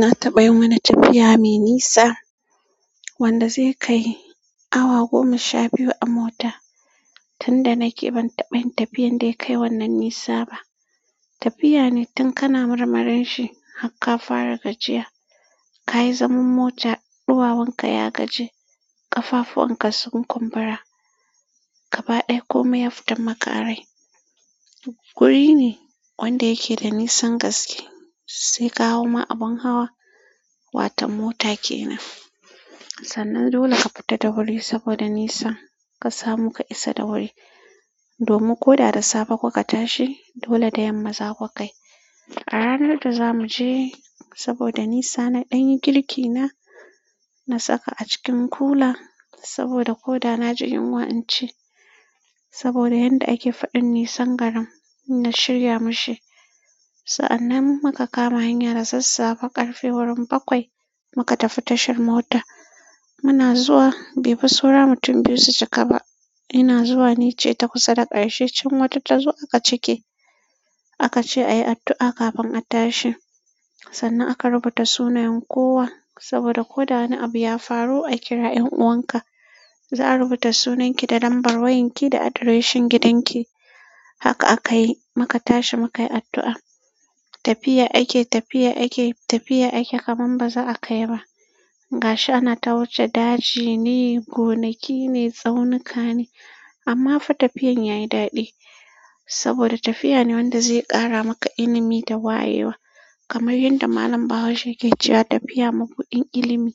Na taɓa yin wani tafiya mai nisa wanda zai kai awa goma sha biyu a mota. Tunda nake ban taɓa yin tafiyan da ya kai wannan nisa ba. Tafiya ne tun kana marmarin shi har ka fara gajiya. Ka yi zaman mota, ɗuwawunka ya gaji, ƙafafuwan ka sun kumbura, ka baɗa komai ya fitan maka a rai. Wuri ne wanda yake da nisan gaske sai ka hau ma abun hawa. Watan mota kenan. Sannan dole ka fita da wuri saboda nisan. Ka samu ka isa da wuri. Domin ko da da safe kuka tashi dole da yamma za ku kai. A ranar da za mu je saboda nisa na ɗan yi girki na. Na saka a cikin kula saboda ko da na ji yunwa in ci. Saboda yanda ake faɗin nisan garin na shirya mishi. Sa'annan muka kama hanya da sassafe ƙarfe wurin bakwai muka tafi tashar mota. Muna zuwa bai fi saura mutum biyu su cika ba. Ina zuwa nice ta kusa da ƙarshe can wata ta zo aka cike. Aka ce a yi addu'a kafin a tashi. Sannan aka rubuta sunayen kowa saboda ko da wani abu ya faru a kira 'ƴan 'uwanka. Za a rubuta sunanki da lambar wayanki da adireshin gidanki. Haka aka yi muka tashi muka yi addu'a. Tafiya ake, tafiya ake, tafiya ake kaman ba za a kai ba. Gashi ana ta wuce daji ne, gonaki ne, tsaunuka ne amma fa tafiyan ya yi daɗi saboda tafiya ne wanda zai ƙara maka ilimi da wayewa. Kamar yanda Malam Bahaushe yake cewa tafiya mabuɗin ilimi.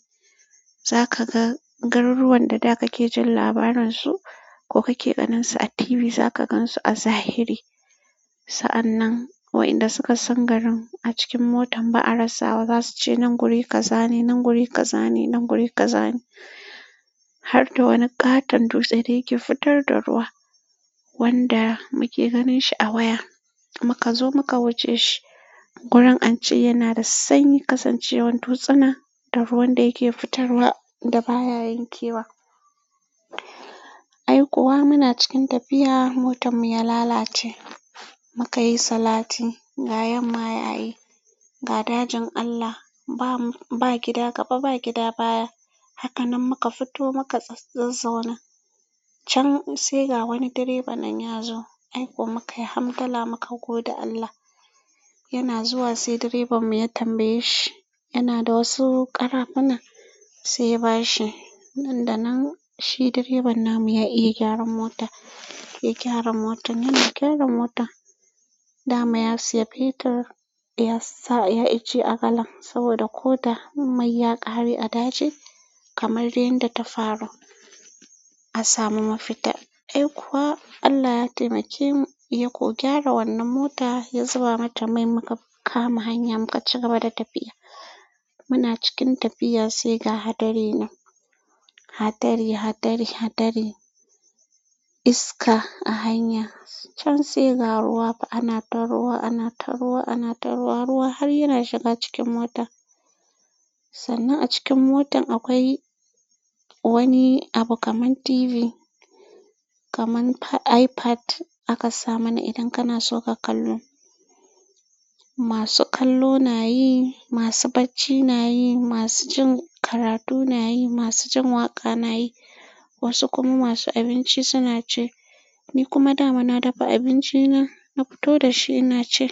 Za ka ga garuruwan da da kake jin labarin su ko kake ganin su a TV za ka gan su a zahiri. Sa'annan wa'inda suka san garin a cikin motan ba a rasa ba zasu ce nan guri ka zane, nan guri ka zane, nan guri ka zane. Har da wani ƙaton dutse da yake fitar da ruwa wanda muke ganin shi a waya. Muka zo muka wuce shi. Gurin ance yana da sanyi kasancewar dutsuna da ruwan da yake fitarwa da baya yankewa. Ai kuwa muna cikin tafiya motar mu ya lalace. Muka yi salati ga yamma yayi. Ga dajin Allah ba gida gaba ba gida baya. Hakanan muka fito muka tsa, zazzauna. Can sai ga wani direba nan ya zo. Ai kuwa muka yi hamdala muka gode Allah. Yana zuwa sai direban mu ya tambaye shi. Yana da wasu ƙarafuna sai ya ba shi. Inda nan shi direban namu ya iya gyaran mota, ya gyara motar. Yana gyara motar. Da ma ya siya fetir ya sa ya icce a galan saboda ko da mai ya ƙare a daji kamar yanda ta faru a samu mafita. Ai kuwa Allah ya taimake mu ya ko gyara wannan mota ya zuba mata mai muka kama hanya muka ci gaba da tafiya. Muna cikin tafiya sai ga hadari nan. Hadari, hadari, hadari. Iska a hanya can sai ga ruwa. Ana ta ruwa, ana ta ruwa, ana ta ruwa, ruwa har yana shiga cikin mota. Sannan a cikin motan akwai wani abu kaman TV, kaman iPad aka sa mana idan kana so ka kallo. Masu kallo na yi, masu bacci na yi, masu jin karatu na yi, masu jin waƙa na yi, wasu kuma masu abinci suna ci. Ni kuma da ma na dafa abinci na, na fito da shi ina ci.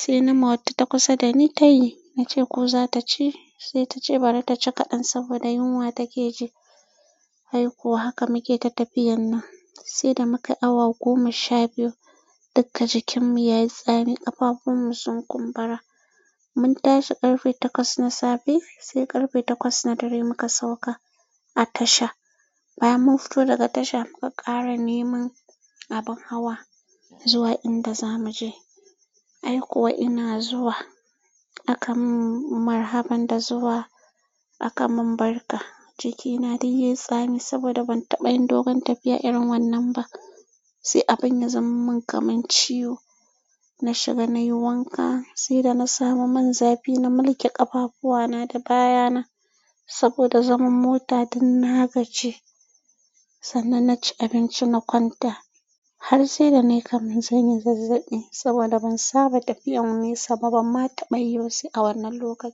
Sai nama wata ta kusa da ni ta yi. Na ce ko za ta ci? Sai ta ce bari ta ci kaɗan saboda yunwa take ji. Ai kau haka muke ta tafiyan nan sai da muka yi awa goma sha biyu dukka jikinmu yayi tsami ƙafafuwan mu sun kumbura. Mun tashi ƙarfe takwas na safe sai ƙarfe takwas na dare muka sauka a tasha. Bayan mun fito daga tasha muka ƙara neman abin hawa zuwa inda za mu je. Ai kuwa ina zuwa aka mun marhaban da zuwa aka mun barka. Jiki na duk yayi tsami saboda ban taɓa yin dogon tafiya irin wannan ba. Sai abun ya zaman mun kamar ciwo. Na shiga nayi wanka sai da na samu man zafi na mulke ƙafafuwa na da baya na saboda zaman mota ɗin na gaji. Sannan na ci abinci na kwanta har sai da na yi kamar zanyi zazzaɓi saboda ban saba tafiyan nesa ba ban ma taɓa yi ba sai a wannan lokacin.